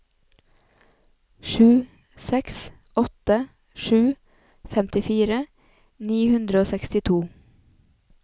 sju seks åtte sju femtifire ni hundre og sekstito